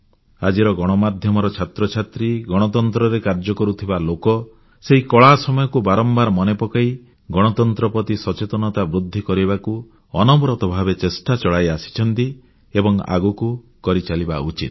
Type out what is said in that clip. ଆଜିର ଗଣମାଧ୍ୟମର ଛାତ୍ରଛାତ୍ରୀ ଗଣତନ୍ତ୍ରରେ କାର୍ଯ୍ୟ କରୁଥିବା ଲୋକ ସେହି କଳା ସମୟକୁ ବାରମ୍ବାର ମନେ ପକାଇ ଗଣତନ୍ତ୍ର ପ୍ରତି ସଚେତନତା ବୃଦ୍ଧି କରିବାକୁ ଅନବରତ ଭାବରେ ଚେଷ୍ଟା ଚଳାଇ ଆସିଛନ୍ତି ଏବଂ ଆଗକୁ କରିଚାଲିବା ଉଚିତ